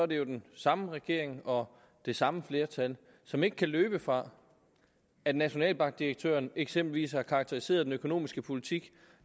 det jo den samme regering og det samme flertal som ikke kan løbe fra at nationalbankdirektøren eksempelvis har karakteriseret den økonomiske politik